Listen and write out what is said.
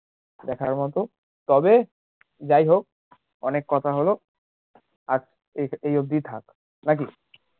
দেখার মতো তবে যাইহোক অনেক কথা হলো আজকে এই অবধি ই থাকে নাকি